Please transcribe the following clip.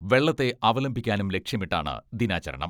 വെള്ളത്തെ അവലംബിക്കാനും ലക്ഷ്യമിട്ടാണ് ദിനാചരണം.